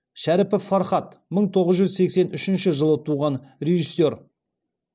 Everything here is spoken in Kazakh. шәріпов фархат мың тоғыз жүз сексен үшінші жылы туған режиссер